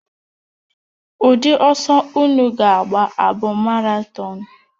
Ụdị ọsọ unu ga-agba abụ maratọnụ?